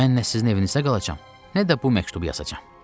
Mən nə sizin evinizdə qalacam, nə də bu məktubu yazacam.